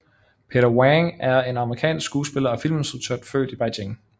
Peter Wang er en amerikansk skuespiller og filminstruktør født i Beijing